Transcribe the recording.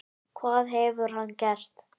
Hvað hefur hann gert?